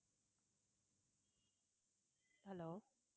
hello